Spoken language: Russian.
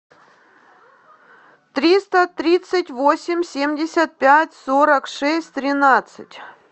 триста тридцать восемь семьдесят пять сорок шесть тринадцать